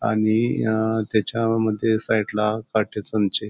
आणि अ त्याच्या मध्ये साईडला पार्टिशन चे--